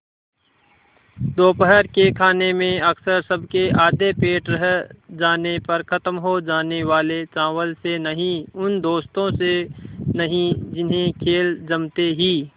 दोपहर के खाने में अक्सर सबके आधे पेट रह जाने पर ख़त्म हो जाने वाले चावल से नहीं उन दोस्तों से नहीं जिन्हें खेल जमते ही